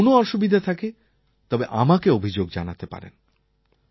যদি কোনও অসুবিধা থাকে তবে আমাকে অভিযোগ জানাতে পারেন